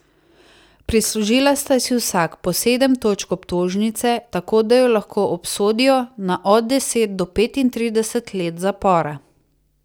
Prislužila sta si vsak po sedem točk obtožnice, tako da ju lahko obsodijo na od deset do petintrideset let zapora.